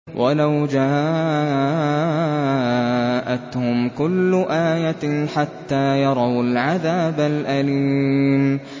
وَلَوْ جَاءَتْهُمْ كُلُّ آيَةٍ حَتَّىٰ يَرَوُا الْعَذَابَ الْأَلِيمَ